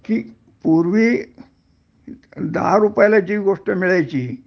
कि पूर्वी दहा रुपयाला जी गोष्ट मिळायची